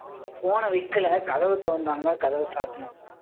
phone அ வைக்கல கதவை திறந்தாங்க கதவை சாத்தினேன்.